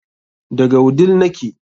Daga wudil nake